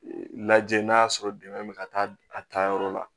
Lajɛ n'a y'a sɔrɔ dɛmɛ bɛ ka taa a taayɔrɔ la